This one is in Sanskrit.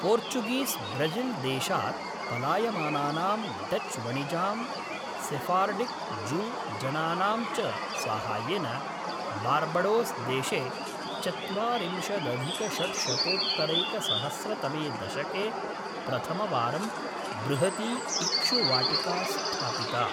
पोर्चुगीस् ब्रज़िल्देशात् पलायमानानां डच्वणिजां सेफ़ार्डिक् जू जनानां च साहाय्येन बार्बडोस्देशे चत्वारिंशदधिकषड्शतोत्तरैकसहस्रतमे दशके प्रथमवारं बृहती इक्षुवाटिका स्थापिता।